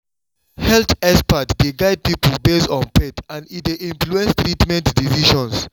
health experts dey guide people based on faith and e dey influence treatment decisions.